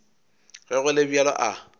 ge go le bjalo a